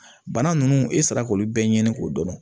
Bana nunnu e sera k'olu bɛɛ ɲini k'o dɔn